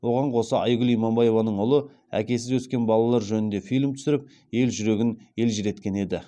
оған қоса айгүл иманбаеваның ұлы әкесіз өскен балалар жөнінде фильм түсіріп ел жүрегін елжіреткен еді